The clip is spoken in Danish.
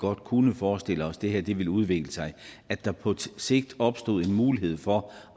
godt kunne forestille os at det her ville udvikle sig og at der på sigt opstå en mulighed for